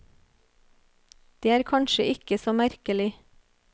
Det er kanskje ikke så merkelig.